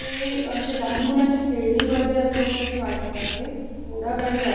हे अशे लहान मुलांचे खेळणी वेगेरे असल्या सारखे वाटत आहे घोडा गाडी आहे.